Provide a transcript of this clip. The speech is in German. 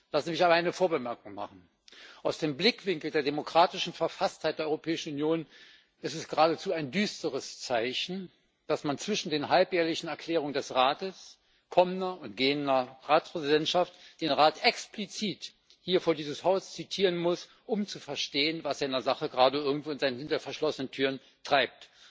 Lassen Sie mich aber eine Vorbemerkung machen Aus dem Blickwinkel der demokratischen Verfasstheit der Europäischen Union ist es geradezu ein düsteres Zeichen, dass man zwischen den halbjährlichen Erklärungen des Rates kommender und gehender Ratspräsidentschaften den Rat explizit hier vor dieses Haus zitieren muss, um zu verstehen, was er in der Sache gerade irgendwo hinter verschlossenen Türen treibt.